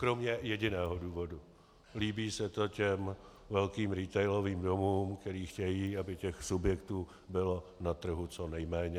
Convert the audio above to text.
Kromě jediného důvodu - líbí se to těm velkým retailovým domům, které chtějí, aby těch subjektů bylo na trhu co nejméně.